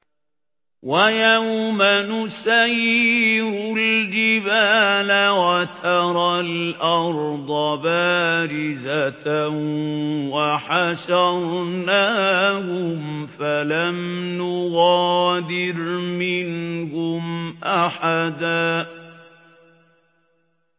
وَيَوْمَ نُسَيِّرُ الْجِبَالَ وَتَرَى الْأَرْضَ بَارِزَةً وَحَشَرْنَاهُمْ فَلَمْ نُغَادِرْ مِنْهُمْ أَحَدًا